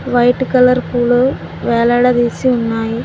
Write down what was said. White colour పూలు వేలాడదీసి ఉన్నాయి.